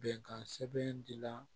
Bɛnkan sɛbɛn di la